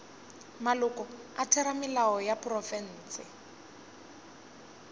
maloko a theramelao ya profense